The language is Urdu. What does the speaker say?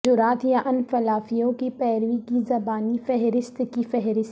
جرات یا انفلافیوں کی پیروی کی زبانی فہرست کی فہرست